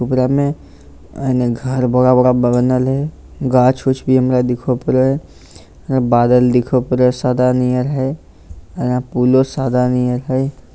ओकरा में एन्ने घर बड़ा-बड़ा बनल हेय गाछ उच्छ भी हमरा दिखो पड़े हेय हीया बादल दिखब करे हेय सदा नियर हेय एने पुलो सदा नियर हेय।